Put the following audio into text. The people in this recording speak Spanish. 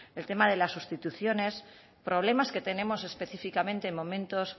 el tema de las sustituciones problemas que tenemos específicamente en momentos